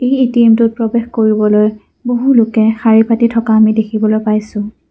এই এ_টি_এম টোত প্ৰৱেশ কৰিবলৈ বহু লোকে শাৰী পাতি থকা আমি দেখিবলৈ পাইছোঁ।